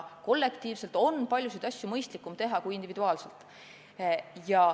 Kollektiivselt on paljusid asju mõistlikum teha kui individuaalselt.